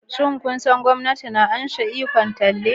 Shin kun san cewa gwamnati na karbe ikon talle?